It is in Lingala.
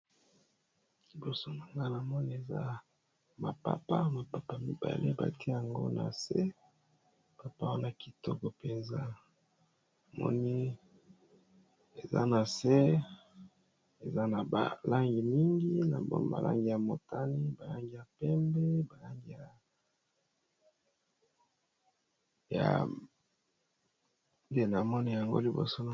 Liboso nanga na moni eza mapapa mapapa mibale bati yango na se papa wo na kitoko mpenza moni eza na se eza na balangi mingi na malangi ya motani balangi ya pembe balangi ya de na mone yango liboso.